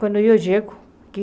Quando eu chego aqui,